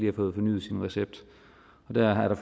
har fået fornyet sin recept der er